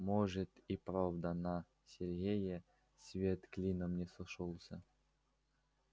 может и правда на сергее свет клином не сошёлся